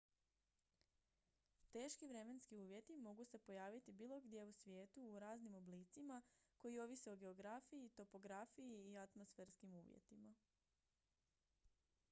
teški vremenski uvjeti mogu se pojaviti bilo gdje u svijetu u raznim oblicima koji ovise o geografiji topografiji i atmosferskim uvjetima